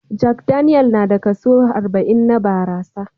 Jack Daniel na da kaso arba'in na barasa